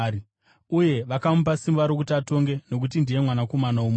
Uye vakamupa simba rokuti atonge nokuti ndiye Mwanakomana woMunhu.